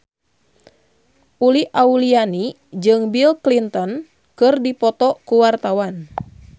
Uli Auliani jeung Bill Clinton keur dipoto ku wartawan